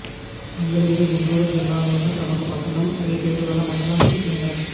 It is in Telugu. మంగళగిరి గుంటూరు జిల్లాలోని ప్రముఖ పట్టణం అదే పేరుగల మండలానికి కేంద్రం